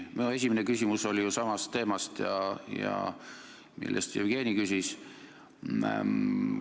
Minu esimene küsimus oli ju samal teemal, mille kohta Jevgeni küsis.